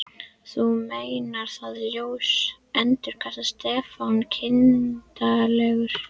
Þú meinar ÞAÐ ljós endurtók Stefán kindarlegur.